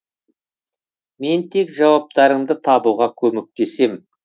мен тек жауаптарыңды табуға көмектесем